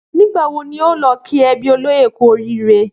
Nígbà wo o óò lo kí ebí olóyè kú orííre?